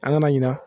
An nana ɲina